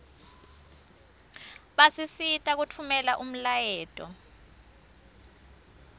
basisita kutfumela umlayeto